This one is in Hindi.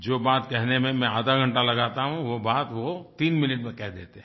जो बात कहने में मैं आधा घंटा लगाता हूँ वो बात वो तीन मिनट में कह देते हैं